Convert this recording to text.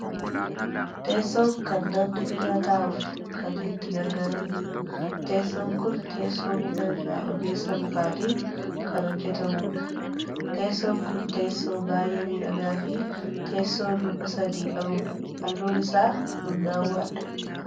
teessoon kan namni irra taa'uuf kan itti gargaarramudha. teessoon kun teessoo muka irraa ogeessa mukaatiin kan hojjatamudha. teessoon kun teessoo baayyee miidhagaafi teessoo luka sadi qa dha. halluun isaa bunnaawwaadha